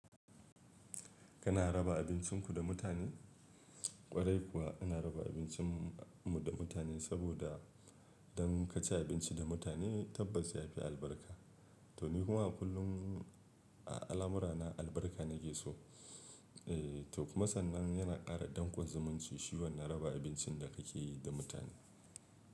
Kana raba abincinku da mutane? Kwarai kuwa ina raba abincin mu da mutane saboda idan kaci abinci da mutane tabbas ya fi albarka. To ni kuma a kullum a al'amurana albarka na ke so. Eh to kuma sannan yana ƙara dankon zumunci shi wannan raba abincin da kake yi da mutane.